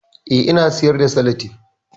Eh, ina siyar da salatif